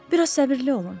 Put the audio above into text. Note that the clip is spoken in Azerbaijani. Bir az səbirli olun.